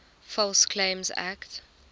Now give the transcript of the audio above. false claims act